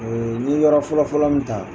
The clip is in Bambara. Ee n ye yɔrɔ fɔlɔfɔlɔ min ta